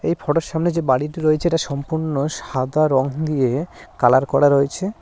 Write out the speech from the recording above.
এই ফটো এর সামনে যে বাড়িটি রয়েছে এটা সম্পূর্ণ সাদা রং দিয়ে কালার করা রয়েছে।